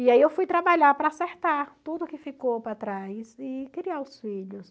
E aí eu fui trabalhar para acertar tudo que ficou para trás e criar os filhos.